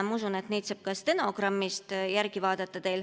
Ma usun, et neid saab ka stenogrammist järele vaadata.